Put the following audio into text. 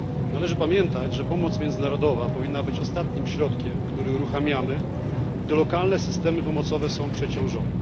Należy pamiętać, że pomoc międzynarodowa powinna być ostatnim środkiem, który uruchamiamy, gdy lokalne systemy pomocowe są przeciążone.